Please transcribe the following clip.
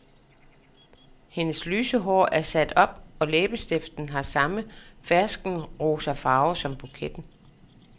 Hendes lyse hår er sat op og læbestiften har samme ferskenrosafarve som buketten.